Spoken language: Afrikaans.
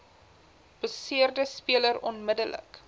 beseerde speler onmiddellik